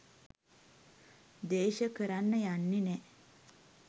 ද්වේශ කරන්න යන්නේ නෑ.